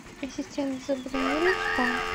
ассистент забронируй спа